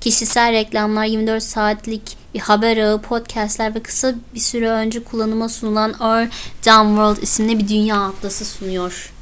kişisel reklamlar 24 saatlik bir haber ağı podcast'ler ve kısa bir süre önce kullanıma sunulan our dumb world isimli bir dünya atlası sunuyor